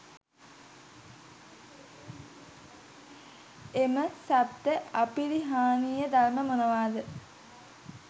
එම සප්ත අපරිහානීය ධර්ම මොනවාද?